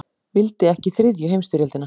Vildi ekki þriðju heimsstyrjöldina